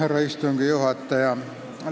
Härra istungi juhataja!